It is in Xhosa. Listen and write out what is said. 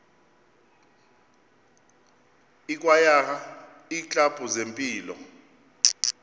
ikwayara iiklabhu zempilo